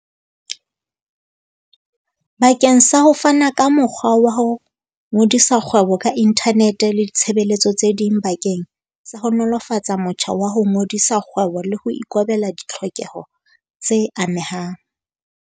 bakeng sa ho fana ka mokgwa wa ho ngodisa kgwebo ka inthanete le ditshebeletso tse ding bakeng sa ho nolofatsa motjha wa ho ngodisa kgwebo le ho ikobela ditlhokeho tse amehang.